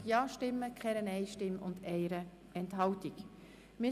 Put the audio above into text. Wir stimmen über diesen obsiegenden Antrag ab.